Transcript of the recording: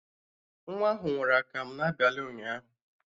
Nwa ahụ ṅụrụ akamụ n'abalị ụnyaahụ